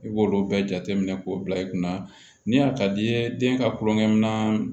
I b'olu bɛɛ jateminɛ k'o bila i kunna ni a ka di i ye den ka kulonkɛ minɛn